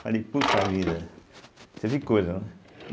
Falei, poxa vida, né?